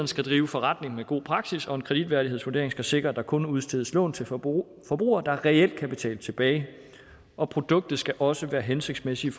skal drive forretning med god praksis og en kreditværdighedsvurdering skal sikre at der kun udstedes lån til forbrugere forbrugere der reelt kan betale tilbage og produktet skal også være hensigtsmæssigt